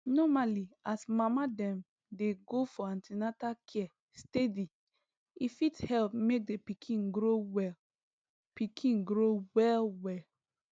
normally as mama dem dey go for an ten atal care steady e fit help make the pikin grow well pikin grow well well